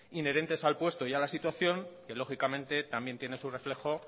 inherentes al puesto y a la situación que lógicamente también su reflejo